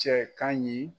Cɛ kan ɲi